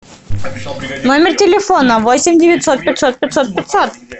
номер телефона восемь девятьсот пятьсот пятьсот пятьсот